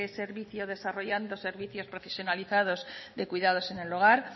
servicio desarrollado servicios profesionalizados de cuidados en el hogar